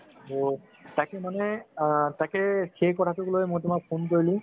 ত তাকে মানে আ তাকে সেই কথাটোক লৈ মই তুমাক phone কৰিলো